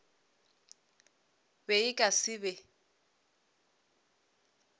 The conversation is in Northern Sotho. be e ka se be